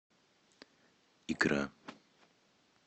икра